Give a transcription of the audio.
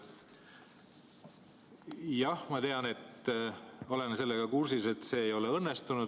Jah, ma tean, olen sellega kursis, et see ei ole õnnestunud.